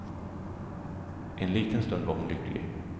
En liten stund var hon lycklig.